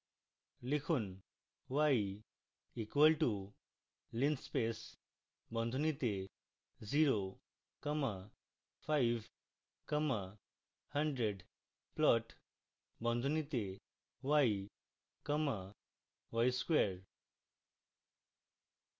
লিখুন: